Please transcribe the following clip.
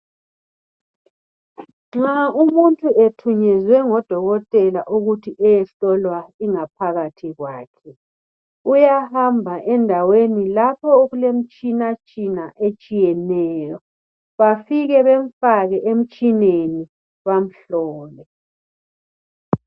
Nxa umuntu ethunyezwe ngodokotela ukuthi ayehlolwa ingaphakathi yakhe, uyahamba endaweni lapho okulemitshina tshina etshiyeneyo bafike bemfake emtshineni bamhlole.